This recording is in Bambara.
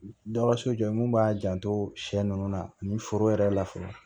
Dɔgɔso jɔ ye mun b'a janto sɛ ninnu na ani foro yɛrɛ la fɔlɔ